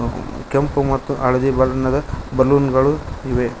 ಕೆಂಪು ಮತ್ತು ಹಳದಿ ಬಣ್ಣದ ಬಲೂನ್ ಗಳು ಇವೆ.